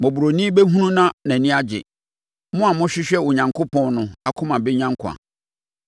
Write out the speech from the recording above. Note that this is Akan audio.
Mmɔborɔni bɛhunu na nʼani agye, mo a mohwehwɛ Onyankopɔn no akoma bɛnya nkwa.